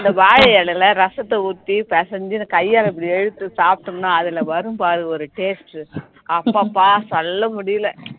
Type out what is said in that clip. அந்த வாழை இலையில ரசத்தை ஊத்தி பிசைஞ்சு கையால இப்படி இழுத்து சாப்டோம்னா அதுல வரும்பாரு ஒரு taste அப்பப்ப சொல்ல முடியல